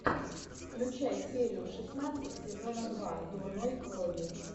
включай серию шестнадцать сезона два дурной крови